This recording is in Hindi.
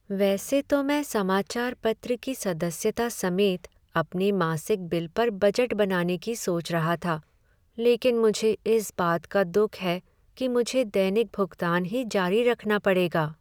वैसे तो मैं समाचार पत्र की सदस्यता समेत अपने मासिक बिल पर बजट बनाने की सोच रहा था, लेकिन मुझे इस बात का दुख है कि मुझे दैनिक भुगतान ही जारी रखना पड़ेगा।